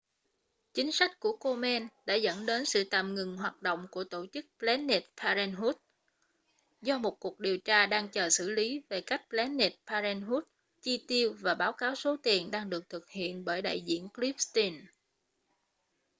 chính sách của komen đã dẫn đến sự tạm ngừng hoạt động của tổ chức planned parenthood do một cuộc điều tra đang chờ xử lý về cách planned parenthood chi tiêu và báo cáo số tiền đang được thực hiện bởi đại diện cliff stearns